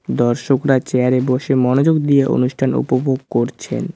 দর্শকরা চেয়ার এ বসে মনোযোগ দিয়ে অনুষ্ঠান উপভোগ করছেন।